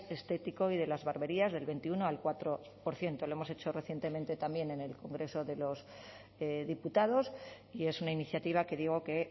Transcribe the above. estético y de las barberías del veintiuno al cuatro por ciento lo hemos hecho recientemente también en el congreso de los diputados y es una iniciativa que digo que